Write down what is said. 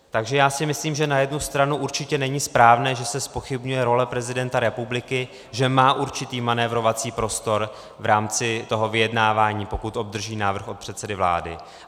Takže já si myslím, že na jednu stranu určitě není správné, že se zpochybňuje role prezidenta republiky, že má určitý manévrovací prostor v rámci toho vyjednávání, pokud obdrží návrh od předsedy vlády.